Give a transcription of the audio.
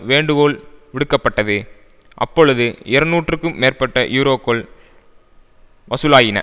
வேண்டுகோள் விடுக்கப்பட்டது அப்பொழுது இருநூறுக்கு மேற்பட்ட யூரோக்கள் வசூலாகின